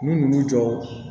N'u nan'u jɔ